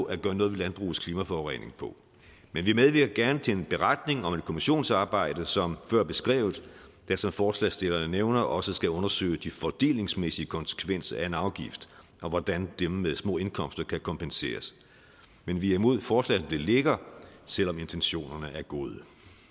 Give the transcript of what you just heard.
at gøre noget ved landbrugets klimaforurening på men vi medvirker gerne til en beretning om et kommissionsarbejde som før beskrevet der som forslagsstillerne nævner også skal undersøge de fordelingsmæssige konsekvenser af en afgift og hvordan dem med små indkomster kan kompenseres men vi er imod forslaget som det ligger selv om intentionerne er gode